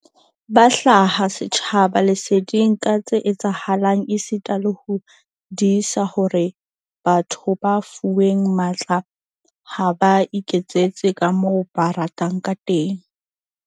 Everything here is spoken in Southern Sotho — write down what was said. Ba hlaha setjhaba leseding ka tse etsahalang esita le ho disa hore batho ba fuweng matla ha ba iketsetse kamoo ba ratang ka teng.